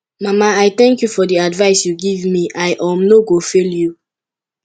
mama i thank you for the advice you give me i um no go fail you